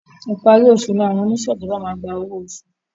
Ìparí oṣù ni àwọn oníṣe ìjọba maá gba ọwọ oṣù